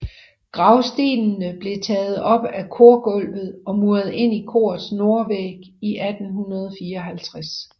Gravstenene blev taget op af korgulvet og muret ind i korets nordvæg 1854